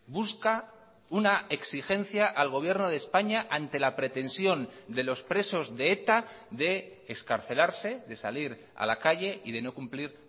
busca una exigencia al gobierno de españa ante la pretensión de los presos de eta de excarcelarse de salir a la calle y de no cumplir